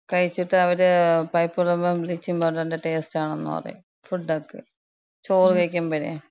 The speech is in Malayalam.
കഴിച്ചിട്ട് അവര് പൈപ്പ് വെള്ളാവുമ്പോ ബ്ലീച്ചിങ് പൗഡർന്‍റ ടേസ്റ്റാണെന്ന് പറയും. ഫുഡൊക്കെ. ചോറ് കഴിക്ക്മ്പഴേ.